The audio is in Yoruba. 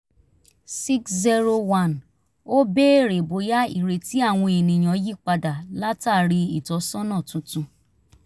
601 ó béèrè bóyá ìrètí àwọn ènìyàn yí padà látàrí ìtọ́sọ́nà tuntun